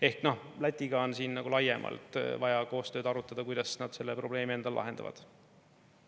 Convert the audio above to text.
Ehk Lätiga on siin laiemalt vaja koostööd arutada, kuidas nad selle probleemi endal lahendavad.